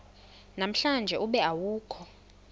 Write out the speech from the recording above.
namhlanje ube awukho